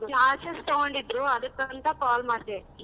Classes ತಗೊಂಡಿದ್ರು ಅದ್ಕ ಅಂತ call ಮಾಡ್ದೆ.